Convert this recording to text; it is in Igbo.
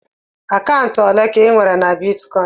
Akaụntụ ole ka inwere na bitkọịn?